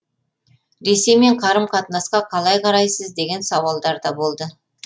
ресеймен қарым қатынасқа қалай қарайсыз деген сауалдар да болды